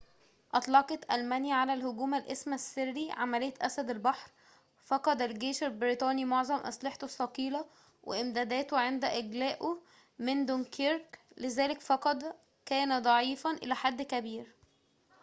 أطلقت ألمانيا على الهجوم الاسم السري عملية أسد البحر فَقَد الجيش البريطاني معظم أسلحته الثقيلة وإمداداته عند إجلائه من دونكيرك لذلك فقد كان ضعيفاً إلى حدٍ كبير